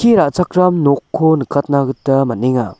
ra·chakram nokko nikatna gita man·enga.